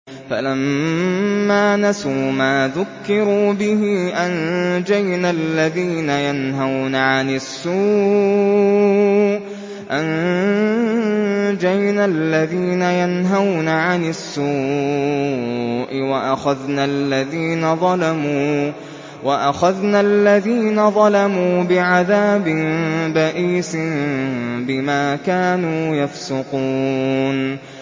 فَلَمَّا نَسُوا مَا ذُكِّرُوا بِهِ أَنجَيْنَا الَّذِينَ يَنْهَوْنَ عَنِ السُّوءِ وَأَخَذْنَا الَّذِينَ ظَلَمُوا بِعَذَابٍ بَئِيسٍ بِمَا كَانُوا يَفْسُقُونَ